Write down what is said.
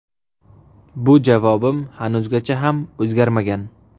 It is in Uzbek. Bu javobim hanuzgacha ham o‘zgarmagan.